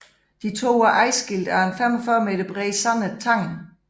De to er adskilt af en 45 meter bred sandet tange